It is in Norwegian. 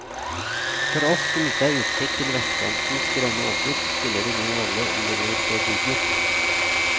For oss som ikke har utsikt til vestkantens grønne åser, spiller det ingen rolle om de blir bebygget.